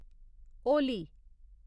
Holi